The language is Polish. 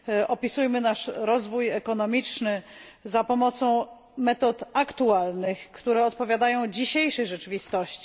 Opisujmy nasz rozwój ekonomiczny za pomocą metod aktualnych, które odpowiadają dzisiejszej rzeczywistości.